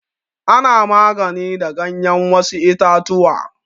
Ana magani da ganyar wasu itatuwa.